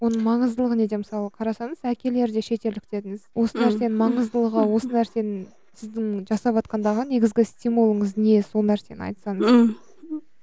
оның маңыздылығы неде мысалы қарасаңыз әкелері де шетелдік дедіңіз осы нәрсенің маңыздылығы осы нәрсенің сіздің жасаватқандағы негізгі стимулыңыз не сол нәрсені айтсаңыз